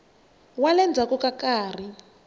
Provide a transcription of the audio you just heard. wa le ndzhaku ka nkarhi